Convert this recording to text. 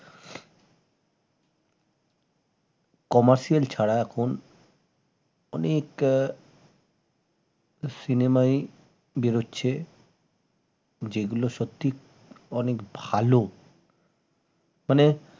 commercial ছাড়া এখন অনেক আহ cinema ই বেরুচ্ছে যেগুলো সত্যি অনেক ভাল মানে